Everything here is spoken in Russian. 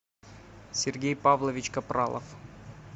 сергей павлович капралов